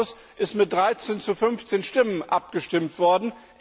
Im Ausschuss ist mit 13 zu 15 Stimmen abgestimmt worden.